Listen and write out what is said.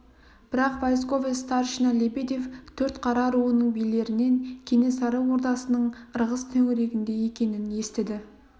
бірақ войсковой старшина лебедев төртқара руының билерінен кенесары ордасының ырғыз төңірегінде екенін естіді